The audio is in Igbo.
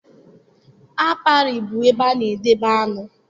Aperi bụ ebe a na-edobe aṅụ.